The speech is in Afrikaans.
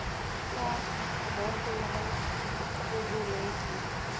park bonteheuwel guguletu